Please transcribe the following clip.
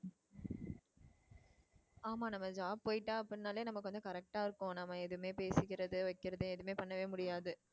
ஆமா நம்ம job போயிட்டா அப்படினாலே நமக்கு வந்து correct அ இருக்கும் நம்ம எதுவுமே பேசிக்கிறது வைக்கிறது எதுவுமே பண்ணவே முடியாது.